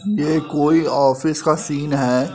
ये कोई ऑफिस का सिन है।